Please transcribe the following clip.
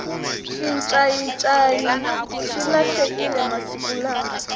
xincayincayi xi lahlekile masiku lawa